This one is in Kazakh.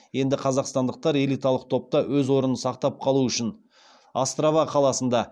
енді қазақстандықтар элиталық топта өз орнын сақтап қалу үшін острава қаласында